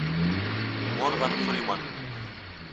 морган фримен